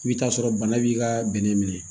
I bɛ t'a sɔrɔ bana b'i ka bɛnɛ minɛ